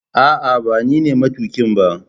ah ah banine matukin ba